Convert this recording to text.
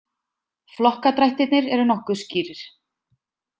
Flokkadrættirnir eru nokkuð skýrir.